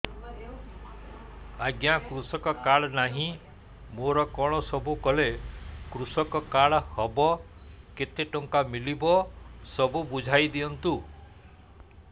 ଆଜ୍ଞା କୃଷକ କାର୍ଡ ନାହିଁ ମୋର କଣ ସବୁ କଲେ କୃଷକ କାର୍ଡ ହବ କେତେ ଟଙ୍କା ମିଳିବ ସବୁ ବୁଝାଇଦିଅନ୍ତୁ